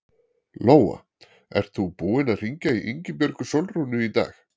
Lóa: Ert þú búinn að hringja í Ingibjörgu Sólrúnu í dag?